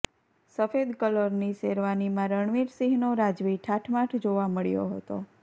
સફેદ કલરની શેરવાનીમાં રણવીરસિંહનો રાજવી ઠાઠમાઠ જોવા મળ્યો હતો